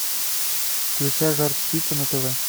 включай жар птица на тв